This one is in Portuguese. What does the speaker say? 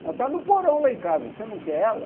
Ela está no porão lá em casa, você não quer ela?